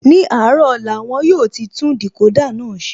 Ní àárọ̀ ọ̀la, won yóò ti tún Decoder náà ṣe